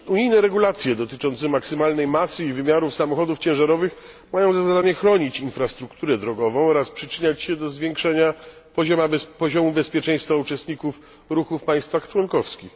Unijne regulacje dotyczące maksymalnej masy i wymiarów samochodów ciężarowych mają za zadanie chronić infrastrukturę drogową oraz przyczyniać się do zwiększania poziomu bezpieczeństwa uczestników ruchu w państwach członkowskich.